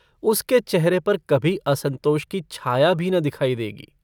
उसके चेहरे पर कभी असंतोष की छाया भी न दिखायी देगी।